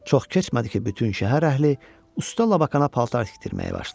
Çox keçmədi ki, bütün şəhər əhli usta Labakana paltar tikdirməyə başladı.